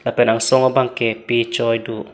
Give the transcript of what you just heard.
pen asong bang ke pe choi do.